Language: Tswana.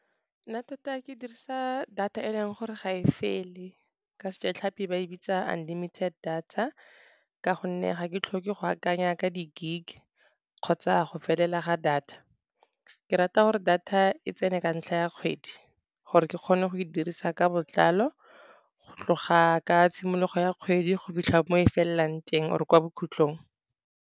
Nna tota ke dirisa data e leng gore ga e fele ka sejatlhapi ba e bitsa unlimited data. Ka gonne ga ke tlhoke go akanya ka di-gig kgotsa go felela ga data. Ke rata gore data e tsene ka ntlha ya kgwedi gore ke kgone go e dirisa ka botlalo, go tloga ka tshimologo ya kgwedi go fitlha mo e felelang teng or kwa bokgutlhong.